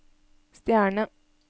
stjerne